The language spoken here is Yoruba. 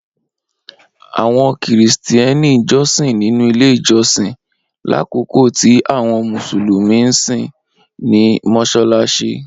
awọn Kristiani jọsin ninu ile ijọsin, lakoko ti awọn Musulumi nsin ni Mossalassi.